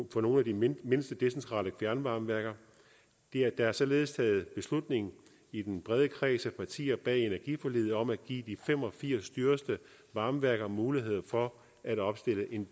på nogle af de mindste mindste decentrale fjernvarmeværker der er således taget beslutning i den brede kreds af partier bag energiforliget om at give de fem og firs dyreste varmeværker mulighed for at opstille en